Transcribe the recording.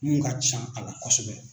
Mun ka can a la kosɛbɛ.